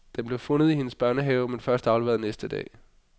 Den blev fundet i hendes børnehave men først afleveret næste dag.